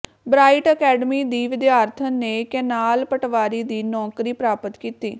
bright academy ਦੀ ਵਿਦਿਆਰਥਣ ਨੇ ਕੈਨਾਲ ਪਟਵਾਰੀ ਦੀ ਨੌਕਰੀ ਪ੍ਰਾਪਤ ਕੀਤੀ